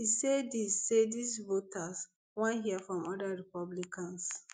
e say dis say dis voters wan hear from oda republicans